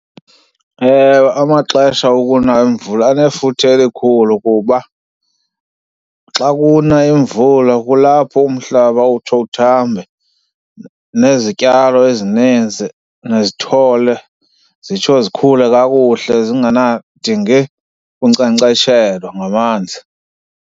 Ewe, amaxesha okuna imvula anefuthe elikhulu kuba xa kuna imvula kulapho umhlaba utsho uthambe nezityalo ezininzi nezithole zitsho zikhule kakuhle zngenakudingi kunkcenkceshelwa ngamanzi.